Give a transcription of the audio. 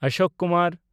Ashok Kumar